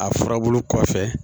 A furabulu kɔfɛ